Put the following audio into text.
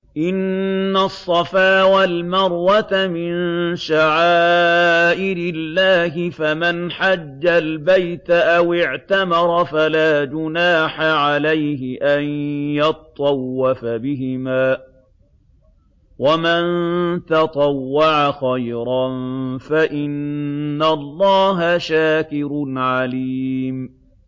۞ إِنَّ الصَّفَا وَالْمَرْوَةَ مِن شَعَائِرِ اللَّهِ ۖ فَمَنْ حَجَّ الْبَيْتَ أَوِ اعْتَمَرَ فَلَا جُنَاحَ عَلَيْهِ أَن يَطَّوَّفَ بِهِمَا ۚ وَمَن تَطَوَّعَ خَيْرًا فَإِنَّ اللَّهَ شَاكِرٌ عَلِيمٌ